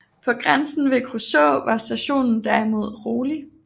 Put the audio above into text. På grænsen ved Kruså var situationen derimod rolig